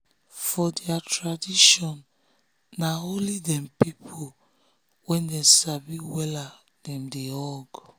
for their traditionna only them people wey dem sabi wella dem dey hug.